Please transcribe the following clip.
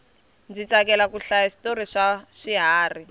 ndzi tsakela ku hlaya switori swa swiharhi